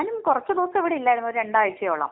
ഞാനും കുറച്ച് ദിവസം ഇവിടെ ഇല്ലായിരുന്നു. രണ്ടാഴ്ചയോളം.